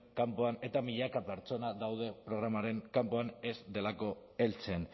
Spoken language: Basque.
kanpoan eta milaka pertsona daude programaren kanpoan ez delako heltzen